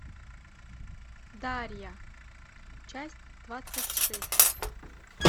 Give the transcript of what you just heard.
дарья часть двадцать шесть